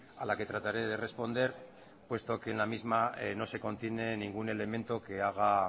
a la que trataré de responder puesto que en la misma no se contiene ningún elemento que haga